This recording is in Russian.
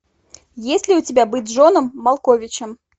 есть ли у тебя быть джоном малковичем